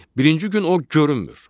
Birinci gün o görünmür.